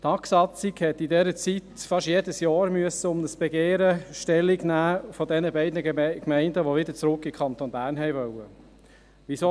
Die Tagsatzung musste in dieser Zeit fast jedes Jahr zu einem Begehren dieser beiden Gemeinden, die wieder zurück in den Kanton Bern wollten, Stellung nehmen.